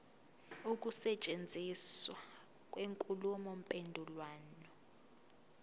ukusetshenziswa kwenkulumo mpendulwano